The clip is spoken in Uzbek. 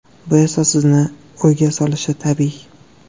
Bu esa sizni o‘yga solishi tabiiy.